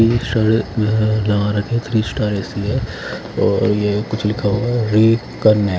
ई शायद यहाँ लगा रखे हैं थ्री स्टार ए_सी है और ये कुछ लिखा हुआ है रिकनेक्ट --